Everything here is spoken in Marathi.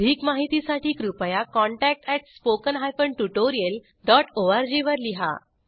अधिक माहितीसाठी कृपया contact at spoken hyphen tutorial dot O R G वर लिहा